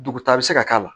Dugu ta bɛ se ka k'a la